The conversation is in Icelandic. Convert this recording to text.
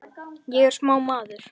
Ég er sá maður.